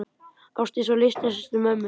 Ásdís var litla systir mömmu.